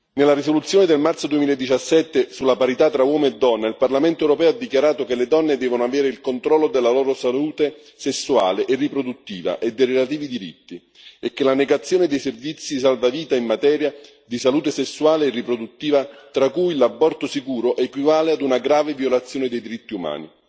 Nella risoluzione del marzo 2017 sulla parità tra uomo e donna, il Parlamento europeo ha dichiarato che le donne devono avere il controllo della loro salute sessuale e riproduttiva e dei relativi diritti, e che la negazione dei servizi salvavita in materia di salute sessuale e riproduttiva, tra cui l'aborto sicuro, equivale ad una grave violazione dei diritti umani.